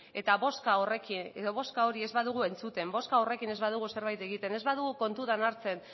eta bozka hori ez badugu entzuten bozka horrekin ez badugu zerbait egiten ez badugu kontutan hartzen